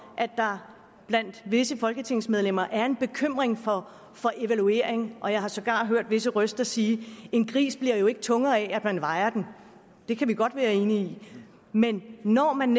at der blandt visse folketingsmedlemmer er en bekymring for for evaluering og jeg har sågar hørt visse røster sige at en gris bliver tungere af at man vejer den det kan vi godt være enige i men når man